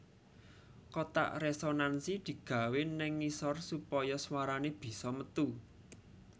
Kotak resonansi digawé ning ngisor supaya swarane bisa metu